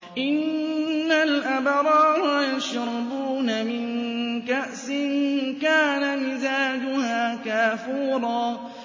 إِنَّ الْأَبْرَارَ يَشْرَبُونَ مِن كَأْسٍ كَانَ مِزَاجُهَا كَافُورًا